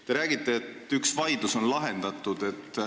Te räägite, et üks vaidlus on lahendatud.